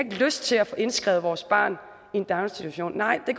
lyst til at få indskrevet vores barn i en daginstitution nej det